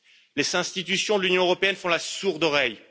Les institutions de l'Union européenne font la sourde oreille.